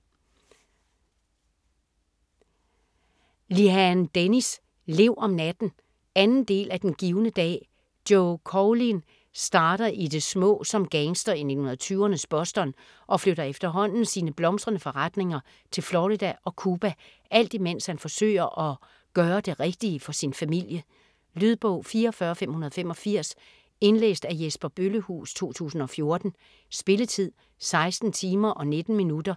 Lehane, Dennis: Lev om natten 2. del af Den givne dag. Joe Coughlin starter i det små som gangster i 1920'ernes Boston og flytter efterhånden sine blomstrende forretninger til Florida og Cuba, alt imens han forsøger at gøre det rigtige for sin familie. Lydbog 44585 Indlæst af Jesper Bøllehuus, 2014. Spilletid: 16 timer, 19 minutter.